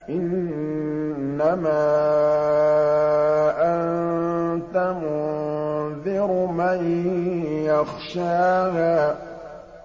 إِنَّمَا أَنتَ مُنذِرُ مَن يَخْشَاهَا